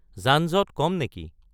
যানজঁট কম নেকি